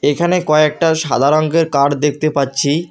এখানে কয়েকটা সাদা রঙের কার দেখতে পাচ্ছি।